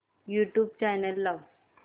YouTube channel लाव